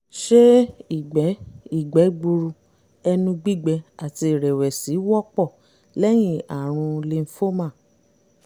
ṣé ìgbẹ́ ìgbẹ́ gbuuru ẹnu gbígbẹ àti ìrẹ̀wẹ̀sì wọ́pọ̀ lẹ́yìn àrùn lymphoma?